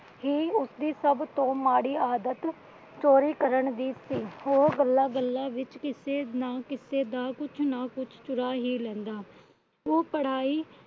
ਹੀ ਉਸਦੀ ਸਭ ਤੋਂ ਮਾੜੀ ਆਦਤ ਚੋਰੀ ਕਰਨ ਦੀ ਸੀ। ਉਹ ਗੱਲਾਂ ਗੱਲਾਂ ਵਿਚ ਕਿਸੇ ਨਾ ਕਿਸੇ ਦਾ ਕੁਛ ਨਾ ਕੁਛ ਚੁਰਾ ਹੀ ਲੈਂਦਾ ਉਹ ਪੜਾਈ